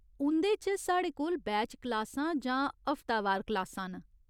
उं'दे च, साढ़े कोल बैच क्लासां जां हफ्तावार क्लासां न।